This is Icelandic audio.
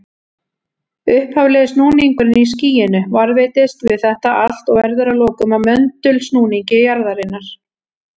Upphaflegi snúningurinn í skýinu varðveitist við þetta allt og verður að lokum að möndulsnúningi jarðarinnar.